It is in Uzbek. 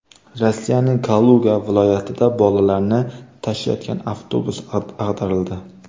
Rossiyaning Kaluga viloyatida bolalarni tashiyotgan avtobus ag‘darildi.